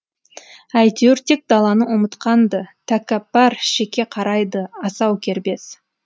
әйтеуір тек даланы ұмытқан ды тәкәппар шеке қарайды асау кербез